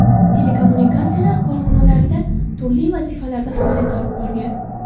Telekommunikatsiyalar korxonalarida turli vazifalarda faoliyat olib borgan.